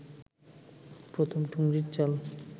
প্রথম ঠুংরির চাল